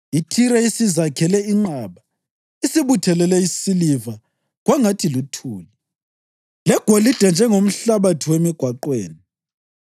IThire isizakhele inqaba; isibuthelele isiliva kwangathi luthuli; legolide njengomhlabathi wemigwaqweni.